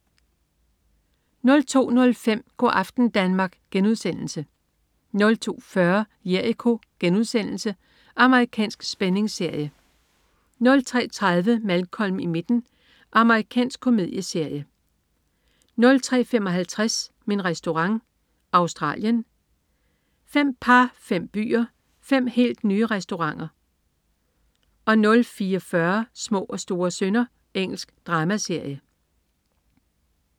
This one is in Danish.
02.05 Go' aften Danmark* 02.40 Jericho.* Amerikansk spændingsserie 03.30 Malcolm i midten. Amerikansk komedieserie 03.55 Min Restaurant. Australien. Fem par, fem byer, fem helt nye restauranter 04.40 Små og store synder. Engelsk dramaserie